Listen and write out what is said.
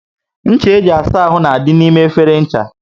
Ncha e ji asa áhù na dị n'ime efere ncha